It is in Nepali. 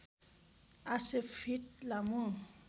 ८०० फिट लामो